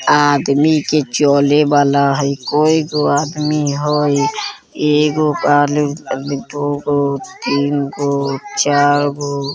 आदमी के चले वाला हई कैगो आदमी हई ? एगो दूगो तीनगो चरगो |